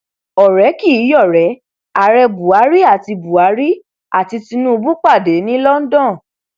ọrẹ kì í yọrẹ ààrẹ buhari àti buhari àti tinubu pàdé ní london